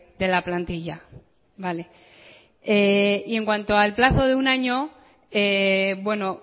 de la plantilla vale y en cuanto al plazo de un año bueno